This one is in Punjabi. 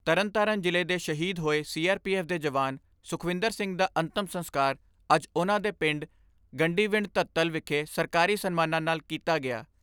ਐੱਫ਼ ਦੇ ਜਵਾਨ ਸੁਖਵਿੰਦਰ ਸਿੰਘ ਦਾ ਅੰਤਮ ਸੰਸਕਾਰ ਅੱਜ ਉਨ੍ਹਾਂ ਦੇ ਪਿੰਡ ਗੰਡੀਵਿੰਡ ਧੋਤਲ ਵਿਖੇ ਸਰਕਾਰੀ ਸਨਮਾਨਾਂ ਨਾਲ ਕੀਤਾ ਗਿਆ।